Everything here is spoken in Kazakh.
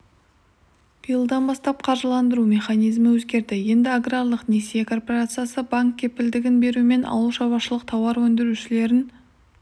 биылдан бастап қаржыландыру механизмі өзгерді енді аграрлық несие корпорациясы банк кепілдігін берумен ауыл шаруашылық тауар өндірушілерін